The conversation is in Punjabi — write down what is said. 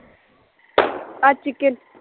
ਅੱਜ ਚਿਕਨ